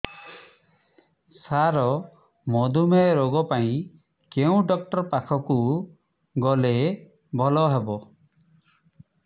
ସାର ମଧୁମେହ ରୋଗ ପାଇଁ କେଉଁ ଡକ୍ଟର ପାଖକୁ ଗଲେ ଭଲ ହେବ